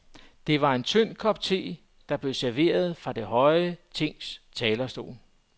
Det var en tynd kop te, der blev serveret fra det høje tings talerstol.